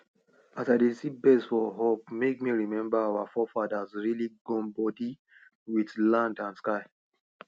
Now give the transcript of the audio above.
as i dey see birds for up make me remember our forefathers really gum body wit land and sky